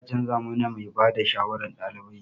Za a canza mana mai ba da shawarar ɗalibai.